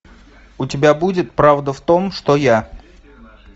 у тебя будет правда в том что я